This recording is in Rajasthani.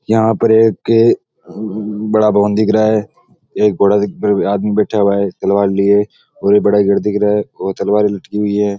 यहां पर एक बड़ा भवन दिख रा है एक घोड़ा पर आदमी बैठा हुआ है तलवार लिए और बड़ा गेट दिख रा है और तलवार लटकी हुई है।